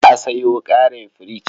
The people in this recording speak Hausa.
Za a sayo ƙarin firich.